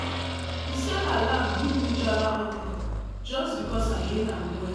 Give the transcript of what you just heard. di seller laugh give me jara okra just because i hail am well.